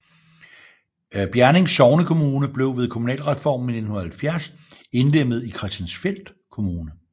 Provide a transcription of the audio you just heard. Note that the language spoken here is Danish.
Bjerning sognekommune blev ved kommunalreformen i 1970 indlemmet i Christiansfeld Kommune